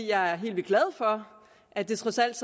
jeg er helt vildt glad for at det trods alt